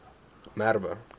merwe